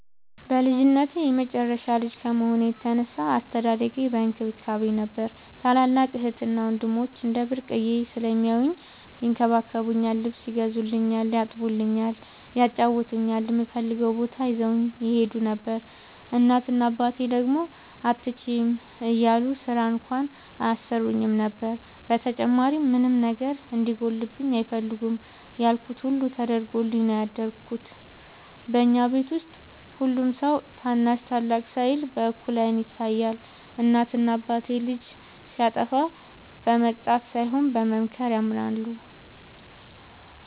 በልጅነቴ የመጨረሻ ልጅ ከመሆኔ የተነሳ አስተዳደጌ በእንክብካቤ ነበር። ታላላቅ እህትና ወንድሞቸ እንደ ብርቅየ ስለሚያውኝ ይንከባከቡኛል ,ልብስ ይገዙልኛል ,ያጥቡኛል ,ያጫውቱኛል, እምፈልገውም ቦታ ይዘውኝ ይሄዱ ነበር። እናት እና አባቴ ደግሞ አትችይም እያሉ ስራ እንኳን አያሰሩኝም ነበር። በተጨማሪም ምንም ነገር እንዲጎልብኝ አይፈልጉም ያልኩት ሁሉ ተደርጎልኝ ነው ያደኩት። በኛ ቤት ውስጥ ሁሉም ሰው ታናሽ ታላቅ ሳይል በእኩል አይን ይታያል። እናት እና አባቴ ልጅ ሲያጠፋ በመቅጣት ሳይሆን በመምከር ያምናሉ።